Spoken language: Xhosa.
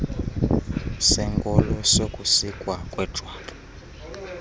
senkolo sokusikwa kwejwabu